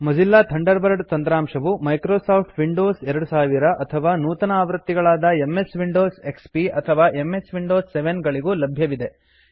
Mozilla Thunderbird ತಂತ್ರಾಂಶವು Microsoft Windows 2000 ಅಥವಾ ನೂತನ ಆವೃತ್ತಿಗಳಾದ ಎಂಎಸ್ ವಿಂಡೋಸ್ ಎಕ್ಸ್ಪಿ ಅಥವಾ ಎಂಎಸ್ ವಿಂಡೋಸ್ 7 ಗಳಿಗೂ ಲಭ್ಯವಿದೆ